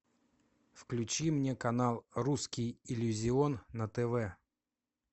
включи мне канал русский иллюзион на тв